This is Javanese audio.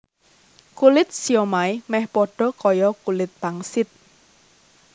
Kulit siomai méh padha kaya kulit pangsit